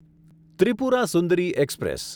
Tripura Sundari express